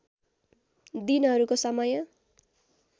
दिनहरूको समय